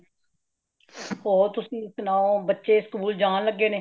ਹੋਰ ਤੁਸੀਂ ਸੁਣਾਓ , ਬੱਚੇ school ਜਾਨ ਲੱਗੇ ਨੇ